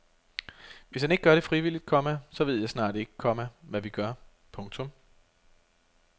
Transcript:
Hvis han ikke gør det frivilligt, komma så ved jeg snart ikke, komma hvad vi gør. punktum